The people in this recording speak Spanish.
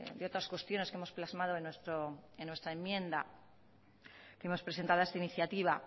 de otras cuestiones que hemos plasmado en nuestra enmienda que hemos presentado a esta iniciativa